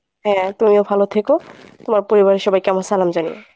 হ্যাঁ তুমিও ভালো থেকো। তোমার পরিবারের সবাইকে আমার সালাম জানিয়ো।